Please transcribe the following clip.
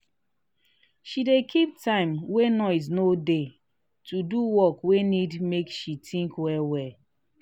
she dey keep time wey noise no dey to do work wey need make she think well well.